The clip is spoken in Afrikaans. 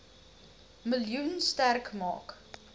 miljoen sterk maak